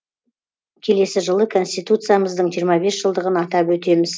келесі жылы конституциямыздың жиырма бес жылдығын атап өтеміз